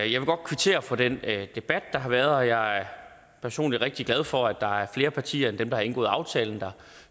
jeg vil godt kvittere for den debat der har været og jeg er personlig rigtig glad for at der er flere partier end dem der har indgået aftalen der